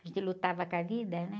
A gente lutava com a vida, né?